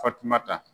Fatumata